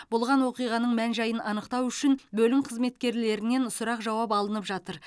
болған оқиғаның мән жайын анықтау үшін бөлім қызметкерлерінен сұрақ жауап алынып жатыр